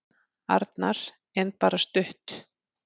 Arnar: En bara stutt.